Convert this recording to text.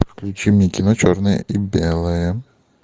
включи мне кино черное и белое